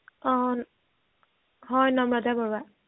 অ হয় নম্ৰতা বৰুৱা